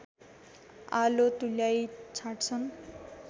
आलो तुल्याई छाड्छन्